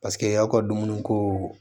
Paseke y'aw ka dumuni ko